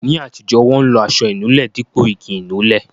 Ní àtijọ́, wọn lo aṣọ inúlẹ dípò igi Ìnulẹ̀